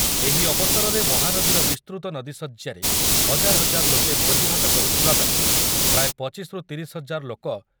ଏହି ଅବସରରେ ମହାନଦୀର ବିସ୍ତୃତ ନଦୀଶଯ୍ୟାରେ ହଜାର ହଜାର ଲୋକେ ଭୋଜିଭାତ କରୁଥିବାବେଳେ ପ୍ରାୟ ପଚିଶ ରୁ ତିରିଶ ହଜାର ଲୋକ